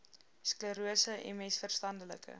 sklerose ms verstandelike